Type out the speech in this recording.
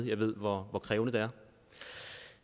jeg ved hvor krævende det er